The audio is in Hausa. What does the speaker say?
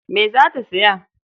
Me za ta saya?